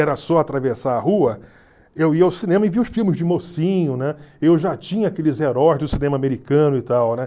era só atravessar a rua, eu ia ao cinema e via os filmes de mocinho, né? Eu já tinha aqueles heróis do cinema americano e tal, ném